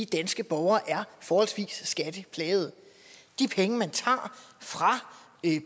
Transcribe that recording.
danske borgere er forholdsvis skatteplagede de penge man tager fra